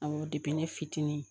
An ko ne fitinin